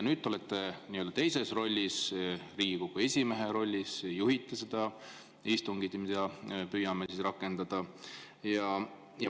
Nüüd te olete teises rollis, Riigikogu esimehe rollis, ja juhite seda istungit, mida me püüame rakendada.